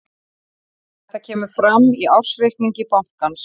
Þetta kemur fram í ársreikningi bankans